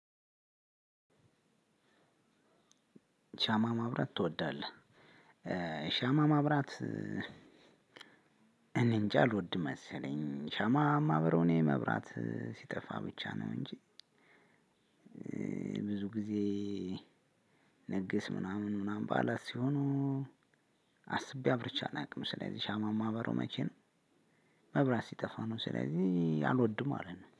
ሻማ ማብራት ትወዳለህ? ሻማ ማብራት እኔንጃ አልወድም መሰለኝ ሻማ የማበራው እኔ መብራት ሲጠፋ ብቻ ነው እንጂ። ብዙ ጊዜ ንግስ ምናምን ምናምን በዓላት ሲሆኑ አስቤ አብርቼ አላውቅም። ስለዚህ ሻማ የማበራው መቼ ነው? መብራት ሲጠፋ ነው ስለዚህ አልወድም ማለት ነው